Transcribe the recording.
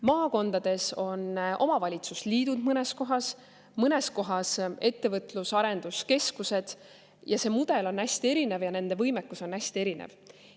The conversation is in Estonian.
Maakondades on mõnes kohas omavalitsusliidud, mõnes kohas ettevõtlus‑ ja arenduskeskused ja see mudel on hästi erinev ja nende võimekus on hästi erinev.